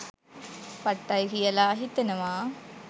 පට්ටයි කියලා හිතෙනවා